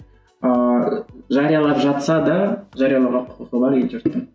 ыыы жариялап жатса да жариялауға құқығы бар ел жұрттың